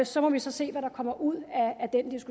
så må vi se hvad der kommer ud